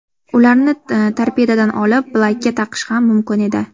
Ularni torpedodan olib, bilakka taqish ham mumkin edi.